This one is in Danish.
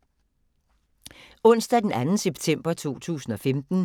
Onsdag d. 2. september 2015